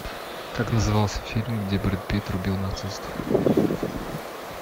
как назывался фильм где брэд питт рубил нацистов